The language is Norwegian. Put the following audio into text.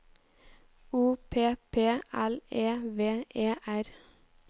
O P P L E V E R